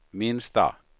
minsta